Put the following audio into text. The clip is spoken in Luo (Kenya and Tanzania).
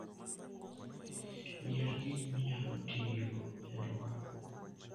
Yier gik minyalo tigo e lworo.